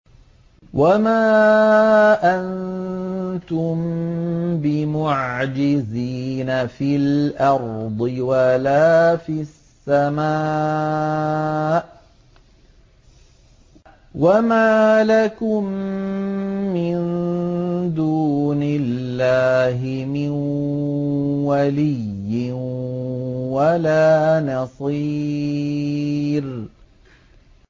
وَمَا أَنتُم بِمُعْجِزِينَ فِي الْأَرْضِ وَلَا فِي السَّمَاءِ ۖ وَمَا لَكُم مِّن دُونِ اللَّهِ مِن وَلِيٍّ وَلَا نَصِيرٍ